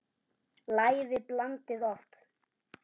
Lævi blandið loft.